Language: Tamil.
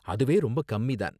அதுவே ரொம்ப கம்மி தான்.